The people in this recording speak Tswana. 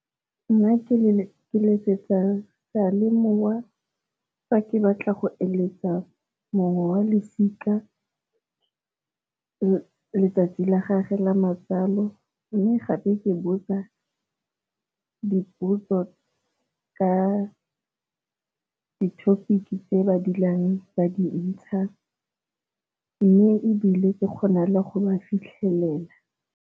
Nna ke letsetsa sealemoa fa ke batla go eleletsa mongwe wa losika letsatsi la gagwe la matsalo, mme gape ke botsa dipotso ka di-topic tse ba dulang ba dintsha mme ebile ke kgona le go ba fitlhelela.